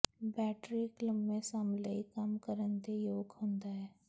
battery ਇੱਕ ਲੰਮੇ ਸਮ ਲਈ ਕੰਮ ਕਰਨ ਦੇ ਯੋਗ ਹੁੰਦਾ ਹੈ